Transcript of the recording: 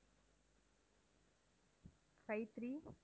five three